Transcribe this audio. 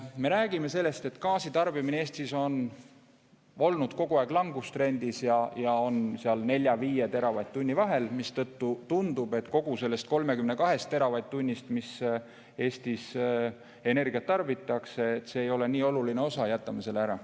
Me räägime, et gaasi tarbimine Eestis on olnud kogu aeg langustrendis ja on seal 4–5 teravatt-tunni vahel, mistõttu tundub, et kogu sellest 32 teravatt-tunnist, mis Eestis energiat tarbitakse, see ei ole nii oluline osa ja jätame selle ära.